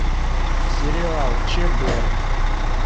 сериал чб